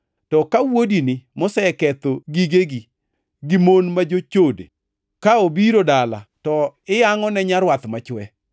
To ka wuodini, moseketho gigegi gi mon ma jochode ka obiro dala, to iyangʼone nyarwath machwe!’